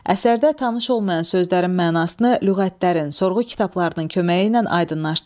Əsərdə tanış olmayan sözlərin mənasını lüğətlərin, sorğu kitablarının köməyi ilə aydınlaşdırın.